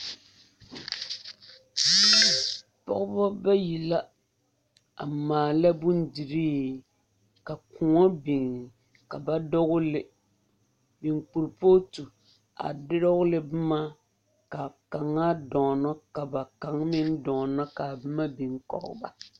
Pɔgeba bayi la a maala bondirii ka kõɔ biŋ ka ba dogele biŋ kuripootu a dogle boma ka a kaŋa dɔɔnɔ ka ba kaŋa meŋ dɔɔnɔ ka a boma meŋ biŋ kɔge ba.